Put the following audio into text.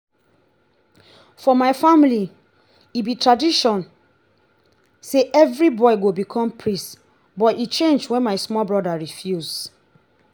for my family e be tradition say every boy go become priest but e change wen my small broda refuse